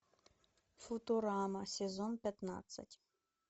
футурама сезон пятнадцать